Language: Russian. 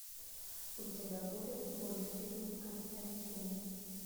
у тебя будет мультфильм константин